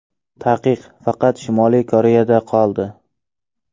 Taqiq faqat Shimoliy Koreyada qoldi.